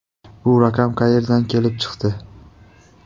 Bu raqam qayerdan kelib chiqdi?